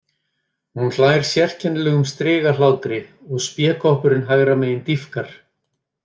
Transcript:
Hún hlær sérkennilegum strigahlátri og spékoppurinn hægra megin dýpkar.